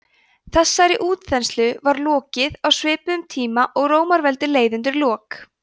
þessari útþenslu var lokið á svipuðum tíma og rómaveldi leið undir lok